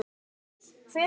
Enginn kom.